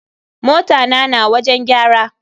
Mota na na wajen gyara.